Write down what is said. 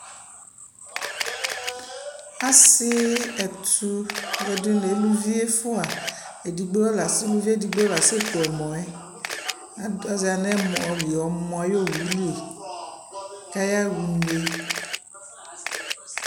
asii ɛtʋ ɛdini nʋalʋvi ɛƒʋa, ɛdigbɔ, ʋlʋvi ɛdigbɔ la sɛ kʋ ɛmɔɛ atɛza nʋ ɛmɔ ayi ɔwʋli kʋ aya ʋnɛ